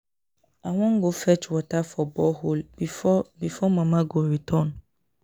I wan go fetch water for borehole before before Mama go return